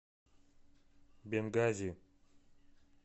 бенгази